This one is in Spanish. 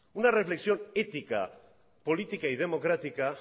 una reflexión ética política y democrática